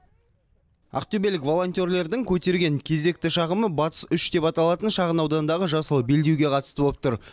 ақтөбелік волонтерлердің көтерген кезекті шағымы батыс үш деп аталатын шағын аудандағы жасыл белдеуге қатысты болып тұр